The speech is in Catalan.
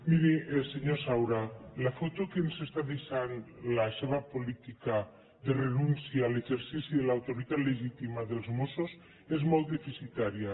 miri senyor saura la foto que ens està deixant la seva política de renúncia a l’exercici de l’autoritat legítima dels mossos és molt deficitària